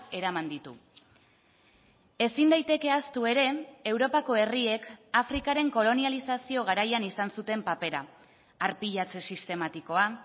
eraman ditu ezin daiteke ahaztu ere europako herriek afrikaren kolonializazio garaian izan zuten papera arpilatze sistematikoa